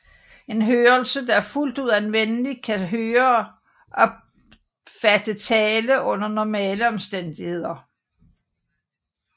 En hørelse der er fuldt ud anvendelig kan høreoptatte tale under normale omstændigheder